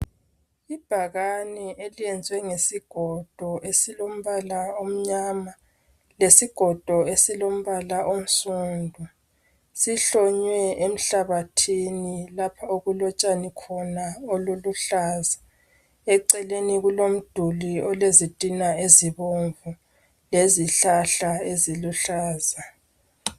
Ibhakane eliyenzwe ngesigodo esilombala omnyama lesigodo esilombala onsundu sihlonywe emhlabathini lapha okulotshani khona obuluhlaza eceleni kulomduli olezitina ezibomvu lezihlahla eziluhlaza.